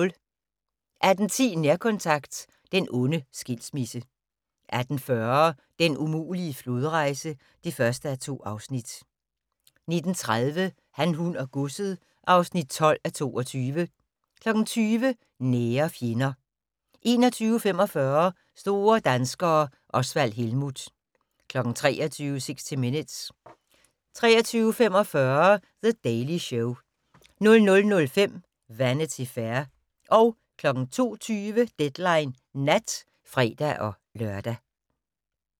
18:10: Nærkontakt - den onde skilsmisse 18:40: Den umulige flodrejse (1:2) 19:30: Han, hun og godset (12:22) 20:00: Nære fjender 21:45: Store danskere - Osvald Helmuth 23:00: 60 Minutes 23:45: The Daily Show 00:05: Vanity Fair 02:20: Deadline Nat (fre-lør)